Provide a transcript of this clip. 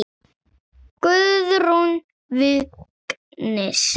Guðrún Vignis.